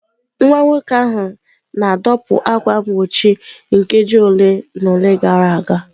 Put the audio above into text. Nwa nwoke ahụ na-adọkpụ ákwà mgbochi nkeji ole na ole gara aga.